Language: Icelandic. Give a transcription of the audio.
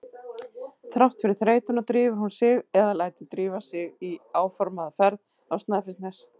Þrátt fyrir þreytuna drífur hún sig eða lætur drífa sig í áformaða ferð á Snæfellsnes.